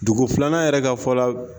Dugu filanan yɛrɛ ka fɔ la.